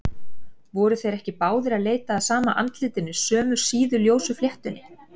Voru þeir ekki báðir að leita að sama andlitinu, sömu síðu, ljósu fléttunni?